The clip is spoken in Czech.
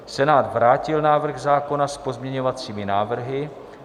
Senát vrátil návrh zákona s pozměňovacími návrhy.